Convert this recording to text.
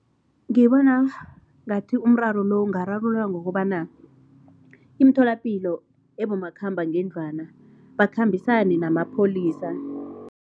Ngibona ngathi umraro lo ungararululwa ngokobana, imitholapilo ebomakhambangendlwana bakhambisane namapholisa.